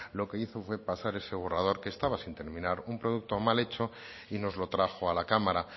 etcétera lo que hizo fue pasar ese borrador que estaba sin terminar un producto mal hecho y nos lo trajo a la